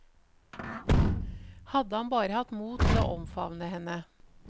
Hadde han bare hatt mot til å omfavne henne.